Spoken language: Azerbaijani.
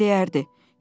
Hüseyn deyərdi.